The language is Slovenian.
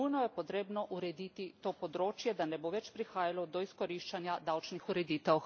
Nujno je potrebno urediti to področje, da ne bo več prihajalo do izkoriščanja davčnih ureditev.